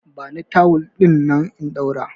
Bani tawul dinnan in ɗaura!